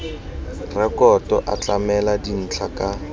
rekoto a tlamela dintlha ka